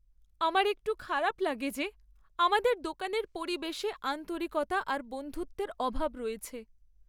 আমার একটু খারাপ লাগে যে আমাদের দোকানের পরিবেশে আন্তরিকতা আর বন্ধুত্বের অভাব রয়েছে।